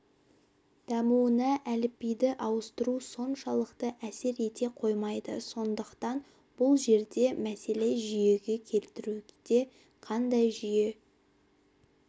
дамуына әліпбиді ауыстыру соншалықты әсер ете қоймайды сондықтан бұл жерде мәселе жүйеге келтіруде қандай жүйе